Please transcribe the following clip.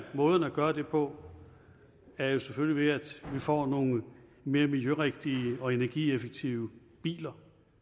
måderne at gøre det på er jo selvfølgelig ved at vi får nogle mere miljørigtige og energieffektive biler